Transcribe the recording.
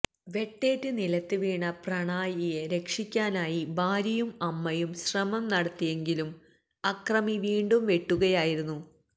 വെട്ടേറ്റ് നിലത്ത് വീണ പ്രണായിയെ രക്ഷിക്കാനായി ഭാര്യയും അമ്മയും ശ്രമം നടത്തിയെങ്കിലും അക്രമി വീണ്ടും വെട്ടുകയായിരുന്നു